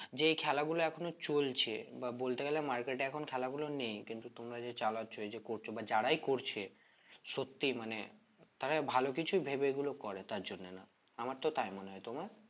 যে এই খেলাগুলো এখনো চলছে বা বলতে গেলে market এ এখন খেলাগুলো নেই কিন্তু তোমরা যে চালাচ্ছ এইযে করছো বা যারাই করছে সত্যি মানে তারা ভালো কিছু ভেবে এগুলো করে তার জন্যে না আমার তো তাই মনে হয় তোমার?